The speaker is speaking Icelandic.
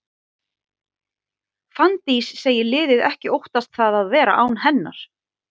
Fanndís segir liðið ekki óttast það að vera án hennar.